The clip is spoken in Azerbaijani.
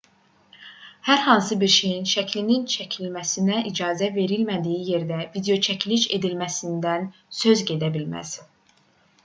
hər hansı bir şeyin şəklinin çəkilməsinə icazə verilmədiyi yerdə videoçəkiliş edilməsindən söz gedə bilməz